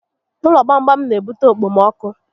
Ụlọ gbam gbam n'ebute okpomọkụ